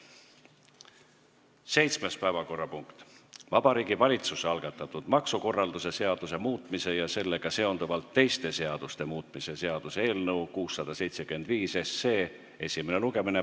Seitsmes päevakorrapunkt on Vabariigi Valitsuse algatatud maksukorralduse seaduse muutmise ja sellega seonduvalt teiste seaduste muutmise seaduse eelnõu 675 esimene lugemine.